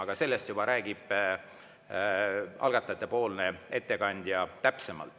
Aga sellest juba räägib algatajatepoolne ettekandja täpsemalt.